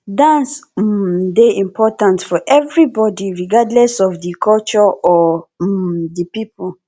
dance um dey important for everybody regardless of di culture or um di people